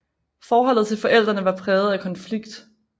Forholdet til forældrene var præget af konflikt